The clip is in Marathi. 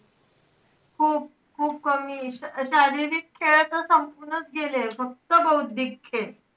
हो खूप कमी. शारीरिक खेळ आता संपूनच गेलेय, फक्त बौद्धिक खेळ.